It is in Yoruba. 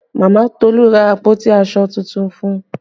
Mama Tolu ra àpótí aṣọ tuntun fún un